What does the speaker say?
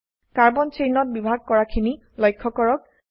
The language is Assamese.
কাৰ্বন চেইনত বিভাগ কৰা খিনি লক্ষ্য কৰক